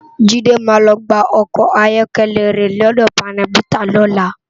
Jide má lò gbá òkò áyòkèlè re lòdò pánèbitá lòlá